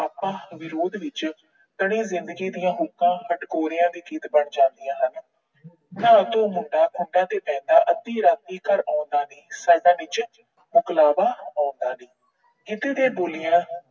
ਤਣੀ ਜਿੰਦਗੀ ਦੀਆਂ ਹੋਕਾਂ ਹਟਕੋਰਿਆਂ ਦੇ ਗੀਤ ਬਣ ਜਾਂਦੀਆਂ ਹਨ। ਨਾ ਤੂੰ ਮੁੰਡਾ ਅੱਧੀ ਰਾਤੀਂ ਘਰ ਆਉਂਦਾ ਨੀ। ਸਾਡਾ ਵਿੱਚ ਮਕਲਾਬਾ ਆਉਂਦਾ ਨੀ। ਗਿੱਧੇ ਤੇ ਬੋਲੀਆਂ